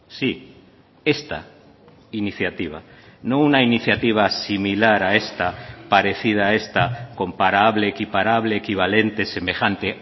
sí esta iniciativa no una iniciativa similar a esta parecida a esta comparable equiparable equivalentes semejante